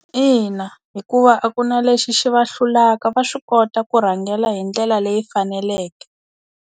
Ina hikuva a ku na lexi xi va hlulaka va swi kota ku rhangela hi ndlela leyi faneleke.